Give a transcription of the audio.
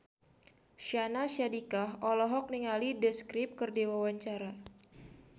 Syahnaz Sadiqah olohok ningali The Script keur diwawancara